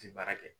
Ti baara kɛ